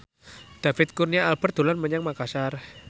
David Kurnia Albert dolan menyang Makasar